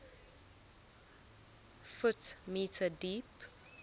ft m deep